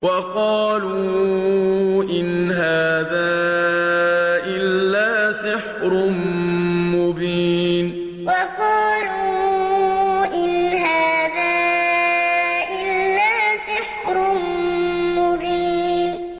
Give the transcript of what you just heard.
وَقَالُوا إِنْ هَٰذَا إِلَّا سِحْرٌ مُّبِينٌ وَقَالُوا إِنْ هَٰذَا إِلَّا سِحْرٌ مُّبِينٌ